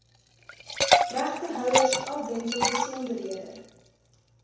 regtehouers afwentel besonderhede